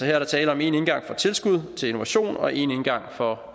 er der tale om en indgang for tilskud til innovation og en indgang for